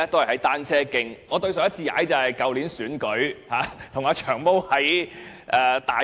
我上次踏單車，是在去年選舉時與"長毛"在大埔。